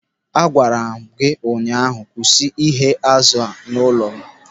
A gwara m gị ụnyaahụ, "Kwụsị ighe azụ n'ụlọ m!"